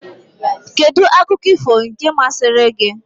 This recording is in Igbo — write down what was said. Kedụ akụkọ ifo nke mmasịri gị?